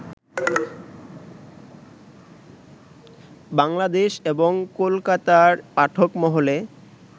বাংলাদেশ এবং কোলকাতার পাঠক মহলে